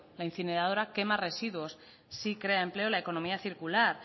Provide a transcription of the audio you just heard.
la incineradora quema residuos sí crea empleo la economía circular